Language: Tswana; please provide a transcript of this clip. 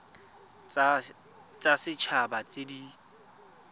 tsa set haba tse di